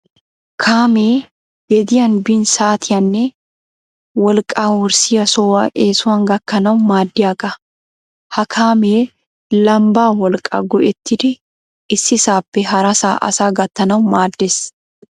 Kaamee gediyan bin saatiyaanne wolqqaa wurssiya sohuwa eesuwan gakkanawu maaddiyaga. Ha kaamee lambbaa wolqqaa go'ettidi issisaappe harasaa asaa gattanawu maaddes.